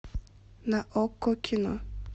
на окко кино